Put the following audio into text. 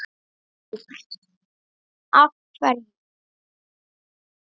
Róbert: Af hverju?